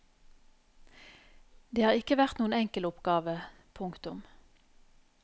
Det har ikke vært noen enkel oppgave. punktum